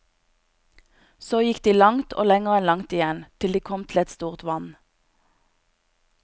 Så gikk de langt og lenger enn langt igjen, til de kom til et stort vann.